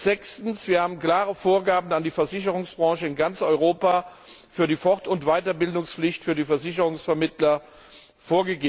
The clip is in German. Sechstens haben wir klare Vorgaben an die Versicherungsbranche in ganz Europa für die Fort und Weiterbildungspflicht für die Versicherungsvermittler gemacht.